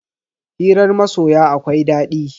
Hirar masoya akwai daɗi.